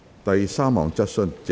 第三項質詢。